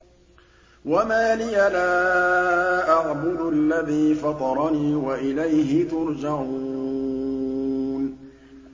وَمَا لِيَ لَا أَعْبُدُ الَّذِي فَطَرَنِي وَإِلَيْهِ تُرْجَعُونَ